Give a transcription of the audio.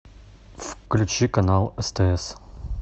включи канал стс